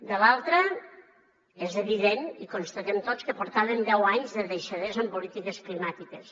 de l’altra és evident i constatem tots que portàvem deu anys de deixadesa en polítiques climàtiques